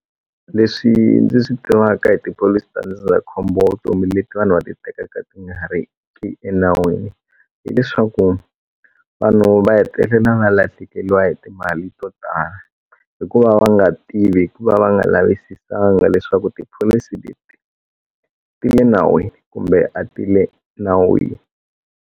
Leswi ndzi swi tivaka hi tipholisi ta ndzindzakhombo wa vutomi leti vanhu va titeketelaka ti nga ri ki enawini hileswaku vanhu va hetelela na lahlekeliwa hi timali to tala hikuva va nga tivi hikuva va nga lavisisanga leswaku tipholisi leti ti le nawini kumbe a ti le nawini.